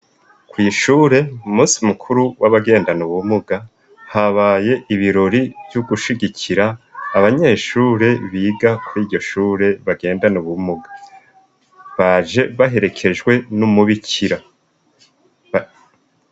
Kwishure munsi mukuru w'abagendano bumuga habaye ibirori vy'ugushigikira abanyeshure biga kur'ijyoshure bagendano bumuga baje baherekejwe n'umubikira.